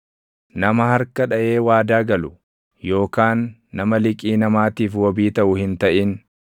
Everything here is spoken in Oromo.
Nama harka dhaʼee waadaa galu yookaan nama liqii namaatiif wabii taʼu hin taʼin;